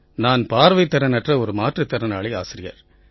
நான் பார்வைத் திறன் அற்ற ஒரு மாற்றுத் திறனாளி ஆசிரியர்